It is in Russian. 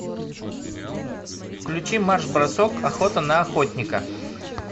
включи марш бросок охота на охотника